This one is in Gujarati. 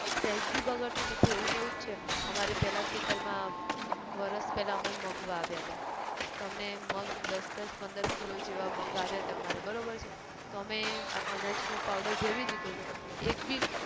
સહેજ બી બગડતું નથી એવું ન એવું જ છે અમારે પહેલા ખેતર માં, વરસ પહેલા અમે મગ વાવ્યા હતા, તો અમને મગ દસ દસ પંદર kilo જેવા મગ આવ્યા હતા અમારે, બરોબર છે, તો અમે અનાજ નો powder ભેરવી દીધો હતો, એક બી